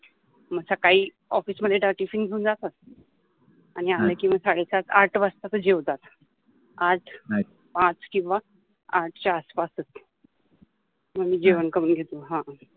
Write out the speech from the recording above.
मग सकळी ऑफिस मधे जा टीफिन घेउन जातात अणि आले कि साडेसात आठ वाजता ते जेवतात आज पाच किव्वा आठ च्या आसपासच मंग मि जेवन करुन घेतो.